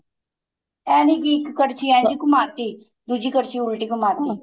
ਏ ਨੀਂ ਕੀ ਇੱਕ ਕਰਛੀ ਇਹ ਜੀ ਘੁੰਮਾ ਤੀ ਦੂਜੀ ਕਰਛੀ ਉਲਟੀ ਘੁੰਮਾ ਤੀ